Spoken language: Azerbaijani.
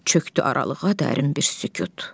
Çökdü aralığa dərin bir sükut.